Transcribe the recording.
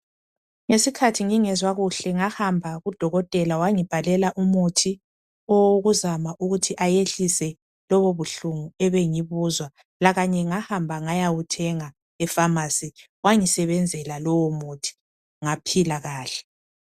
Ngesikhathi ngingezwa kuhle ngahamba kudokotela wangibhalela umuthi owokuzama ukuthi ayehlise lobo buhlungu ebengibuzwa lakanye ngahamba ngayawuthenga efamasi wangisebenzela lowo muthi ngaphila kahle.